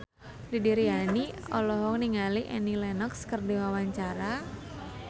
Didi Riyadi olohok ningali Annie Lenox keur diwawancara